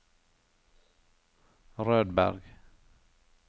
Rødberg